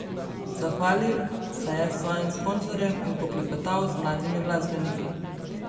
Zahvalil se je svojim sponzorjem in poklepetal z mladimi glasbeniki.